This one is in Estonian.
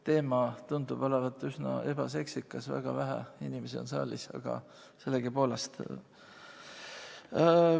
Teema tundub olevat üsna ebaseksikas, väga vähe inimesi on saalis, aga sellegipoolest.